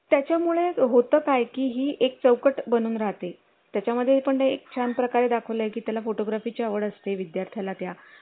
त्याच्या मुळे होतं काय की ही एक चौकट बनून राहते त्याच्या मध्ये पण एक छान प्रकारे दाखवले आहे त्याला photography ची आवड असते विद्यार्थ्यांला त्या